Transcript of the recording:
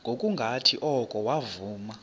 ngokungathi oko wavuma